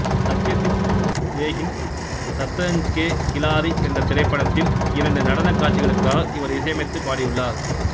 சத்யஜித் ரேயின் சத்ரஞ்ச் கே கிலாரி என்றத் திரைப்படத்தில் இரண்டு நடனக் காட்சிகளுக்காக இவர் இசையமைத்து பாடியுள்ளார்